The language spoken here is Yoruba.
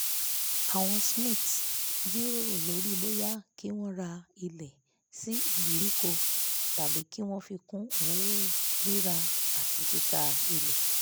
àwọn smiths jíròrò lórí bóyá kí wọn ra ilẹ̀ sí ìgbèríko tàbí kí wọn fi kún òwò rírà àti títà ilẹ̀